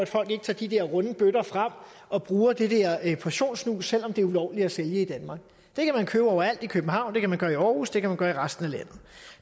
folk ikke tager de der runde bøtter frem og bruger det der portionssnus selv om det er ulovligt at sælge i danmark det kan man købe overalt i københavn det kan man gøre i aarhus det kan man gøre i resten af landet